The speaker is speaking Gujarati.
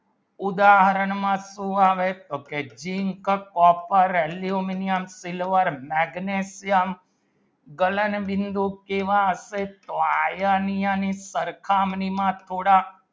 ઉદાહરણમાં સુ આવે તો જિમ કો copper aluminium silver maagnesium color બિંદુ કેવા હશે તો iron ની સરખા ની નો થોડા